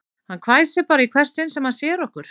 Hann hvæsir bara í hvert sinn sem hann sér okkur